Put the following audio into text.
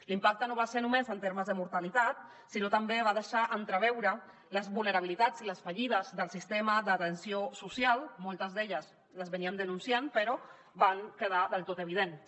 l’impacte no va ser només en termes de mortalitat sinó que també va deixar entreveure les vulnerabilitats i les fallides del sistema d’atenció social moltes d’elles les denunciàvem però van quedar del tot evidents